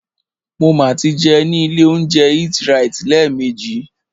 Mo ma tí jẹun ní ilé óúnjẹ EatRite lẹ́ẹ̀mejì.